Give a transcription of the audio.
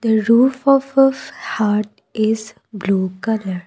the roof of of hut is blue colour.